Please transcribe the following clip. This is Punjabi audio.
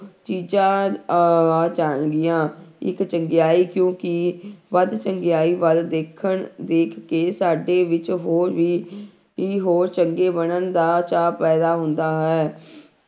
ਚੀਜ਼ਾਂ ਆ ਆ ਜਾਣਗੀਆਂ ਇੱਕ ਚੰਗਿਆਈ ਕਿਉਂਕਿ ਵੱਧ ਚੰਗਿਆਈ ਵੱਲ ਦੇਖਣ ਦੇਖ ਕੇ ਸਾਡੇ ਵਿੱਚ ਹੋਰ ਵੀ ਹੀ ਹੋਰ ਚੰਗੇ ਬਣਨ ਦਾ ਚਾਅ ਪੈਦਾ ਹੁੰਦਾ ਹੈ,